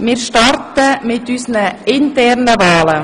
Wir starten mit unseren internen Wahlen.